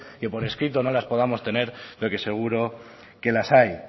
que por escrito no las podamos tener pero que seguro que las hay